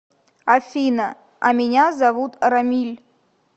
афина а меня зовут рамиль